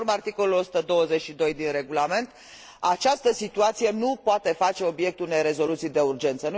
Conform articolului 122 din Regulament, această situație nu poate face obiectul unei rezoluții de urgență.